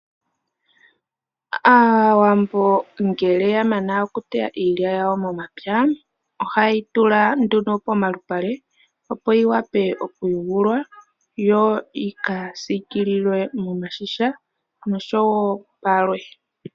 Aawambo ngele ya mana okuteya iilya yawo momapya ohaye yi tula nduno pomalupale opo yi vule okuyungulwa yo yi kasiikililwe miigandhi noshowo palwe.